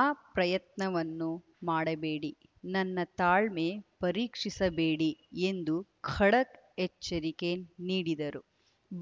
ಆ ಪ್ರಯತ್ನವನ್ನು ಮಾಡಬೇಡಿ ನನ್ನ ತಾಳ್ಮೆ ಪರೀಕ್ಷಿಸಬೇಡಿ ಎಂದು ಖಡಕ್‌ ಎಚ್ಚರಿಕೆ ನೀಡಿದರು